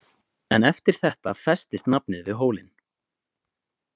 "En eftir þetta festist nafnið við hólinn. """